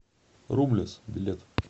румлес билет